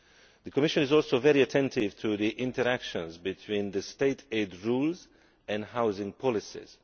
The Commission is also very attentive to the interactions between state aid rules and housing policies.